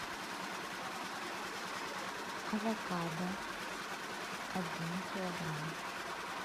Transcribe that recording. авокадо один килограмм